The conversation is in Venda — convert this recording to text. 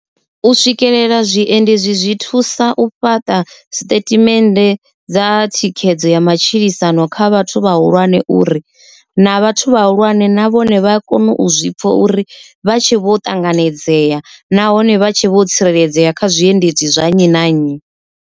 U swikelela zwiendi zwi thusa u fhaṱa siṱethimennde dza thikhedzo ya matshilisano kha vhathu vhahulwane uri, na vhathu vhahulwane na vhone vha a kona u zwipfa uri vha tshi vho ṱanganedzea nahone vha tshi vho tsireledzea kha zwiendedzi zwa nnyi na nnyi.